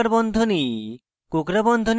কোঁকড়া বন্ধনীতে